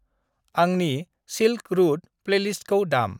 आंनि silk route प्लेलिस्टखौ दाम।